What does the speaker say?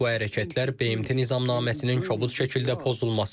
Bu hərəkətlər BMT Nizamnaməsinin kobud şəkildə pozulmasıdır.